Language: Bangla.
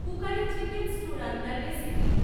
কুকারে চিকেন স্ট্যু রান্নার রেসিপি